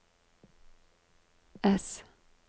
ess